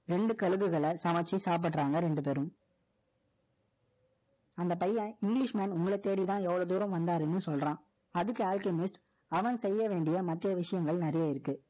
இரண்டு கழுகுகளை சமெச்சு சாப்பிடுறாங்க, ரெண்டு பேரும். அந்த பையன், English man உங்களை தேடிதான், எவ்வளவு தூரம் வந்தாருன்னு சொல்றான். அதுக்கு Alchemist ஆனால், செய்ய வேண்டிய மற்ற விஷயங்கள் நிறைய இருக்கு